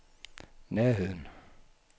nærheden